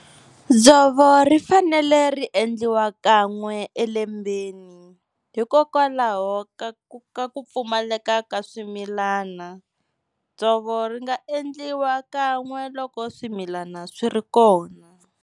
Dzovo ri fanele ri endliwa kan'we elembeni hikokwalaho ka ku ka ku pfumaleka ka swimilana. Dzovo ri nga endliwa kan'we loko swimilana swi ri kona.